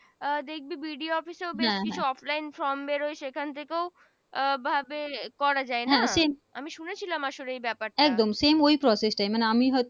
আহ দেখবি BDO office বেশ কিছু Offline Form বেরোও সেখান থেকেও ভাবে করা যায় না। আমি শুনে ছিলাম আসলে এই ব্যাপার